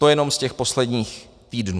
To jenom z těch posledních týdnů.